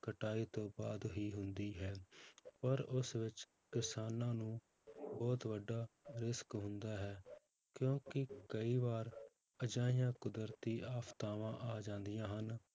ਕਟਾਈ ਤੋਂ ਬਾਅਦ ਹੀ ਹੁੰਦੀ ਹੈ ਪਰ ਉਸ ਵਿੱਚ ਕਿਸਾਨਾਂ ਨੂੰ ਬਹੁਤ ਵੱਡਾ risk ਹੁੰਦਾ ਹੈ ਕਿਉਂਕਿ ਕਈ ਵਾਰ ਅਜਿਹੀਆਂ ਕੁਦਰਤੀ ਆਫ਼ਤਾਵਾਂ ਆ ਜਾਂਦੀਆਂ ਹਨ